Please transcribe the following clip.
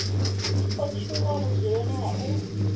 o tshuwa vhudzuloni ha u